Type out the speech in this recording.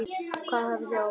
Hvað hafið þið ákveðið?